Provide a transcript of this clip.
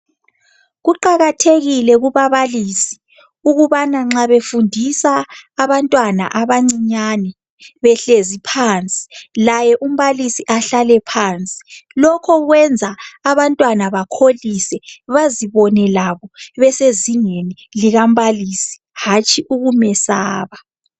Kuqakathekile kubabalisi ukubana nxa befundisa abantwana abancinyane , behlezi phansi, laye umbalisi ehlale phansi. Lokho kwenza abantwana bakholise, bezibone besezingeni likambalisi, hatshi ukumesaba.